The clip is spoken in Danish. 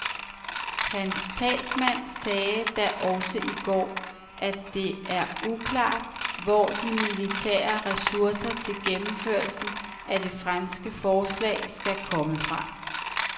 Hans talsmand sagde da også i går, at det er uklart, hvor de militære ressourcer til gennemførelsen af det franske forslag, skal komme fra.